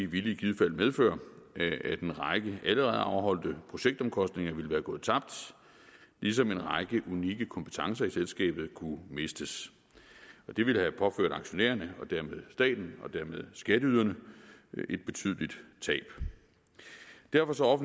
ville i givet fald medføre at en række allerede afholdte projektomkostninger ville være gået tabt ligesom en række unikke kompetencer i selskabet kunne mistes det ville have påført aktionærerne og dermed staten og dermed skatteyderne et betydeligt tab derfor